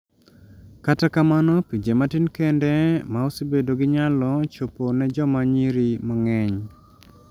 Kata kamano pinje matin ende ma osebedo gi nyalo chopo ne joma nyiri mang'eny